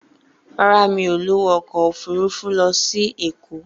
Rárá, mi ò lówó ọkọ̀ òfurufú lọ sí Èkó.